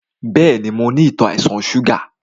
Bẹ́ẹ̀ni, mo ní àìsàn ìtò ṣúgà.